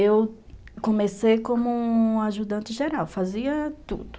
Eu comecei como... ajudante geral, fazia tudo.